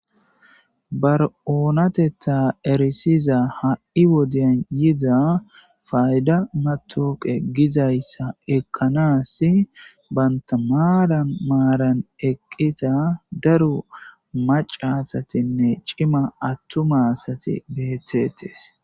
bar7oonatetta erisiza ha7i wodeyan yida fayda matoqe gizayssa ekkanas banta maaran maaran eqqita daru macasatinne cima attumasati betetees